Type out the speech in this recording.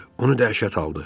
Onu dəhşət aldı.